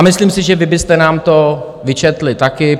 A myslím si, že vy byste nám to vyčetli taky.